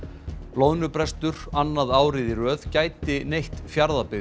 loðnubrestur annað árið í röð gæti neytt Fjarðabyggð